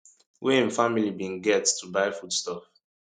wey im family bin get to buy food stuff